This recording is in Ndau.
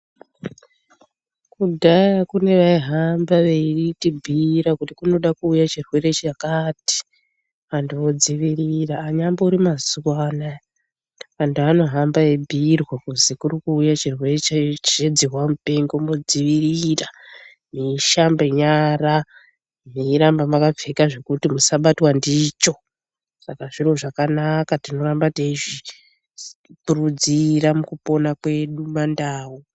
Kudhaya kune vaihamba veitibhuyira kuti kunode kuuye chirwere chakati antu odzivirira ,anyambori mazuwa anaya anhu anohamba eibhuyirwa kuzi kuri kuuye chirwere chedzihwa mupengo mwodzivirira mweishamba nyara meiramba mwakapfeka zvekuti musabatwa ndicho saka zviro zvakanaka tinoramba teikurudzira mukupona kwedu mandau.